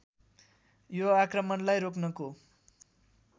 यो आक्रमणलाई रोक्नको